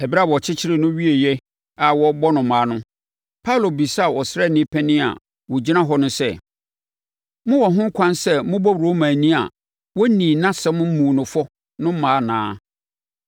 Ɛberɛ a wɔkyekyeree no wieeɛ a wɔrebɛbɔ no mmaa no, Paulo bisaa ɔsraani panin a na ɔgyina hɔ no sɛ, “Mowɔ ho ɛkwan sɛ mobɔ Romani a wɔnnii nʼasɛm mmuu no fɔ no mmaa anaa?”